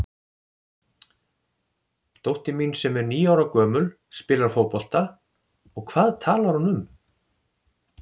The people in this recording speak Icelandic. Dóttir mín sem er níu ára gömul spilar fótbolta og hvað talar hún um?